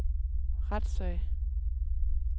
retssag